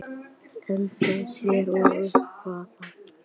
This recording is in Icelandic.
Engin sérstök Uppáhaldsdrykkur?